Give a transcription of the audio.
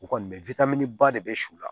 U kɔni bɛ wili ba de bɛ su la